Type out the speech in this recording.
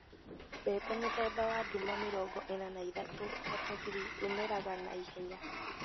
Mbembe mũthemba wa nduma mĩrongo ĩna na ithatũ(43) umeraga na ihenya.